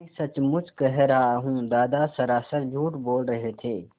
मैं सचमुच कह रहा हूँ दादा सरासर झूठ बोल रहे थे